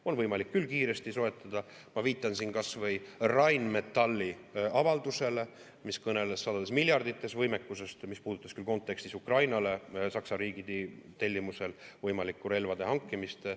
On võimalik küll kiiresti soetada, ma viitan siin kas või Rheinmetalli avaldusele, mis kõneles sadades miljardites võimekusest, mis puudutas küll kontekstis võimalikku relvade hankimist Ukrainale Saksa riigi tellimusel.